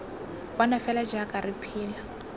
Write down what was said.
bona fela jaaka re phela